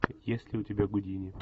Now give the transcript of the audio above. есть ли у тебя гудини